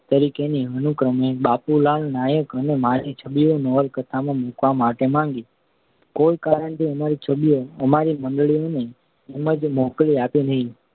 તરીકેની અનુક્રમે બાપુલાલ નાયક અને મારી છબીઓ નવલકથામાં મૂકવા માટે માગી. કોઈ કારણથી અમારી છબીઓ અમારી મંડળીવાળાઓએ એમને મોકલી જ આપી નહિ.